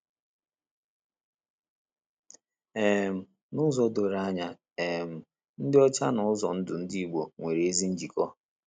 um N’ụzọ doro anya um, ịdị ọcha na ụzọ ndụ Ndị Igbo nwere ezi njikọ.